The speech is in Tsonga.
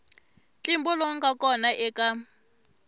ntlimbo lowu nga kona eka